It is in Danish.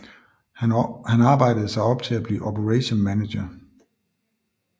Han arbejdede sig op til at blive operation manager